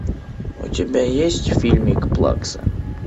у тебя есть фильмик плакса